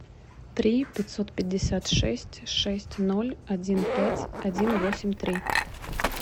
три пятьсот пятьдесят шесть шесть ноль один пять один восемь три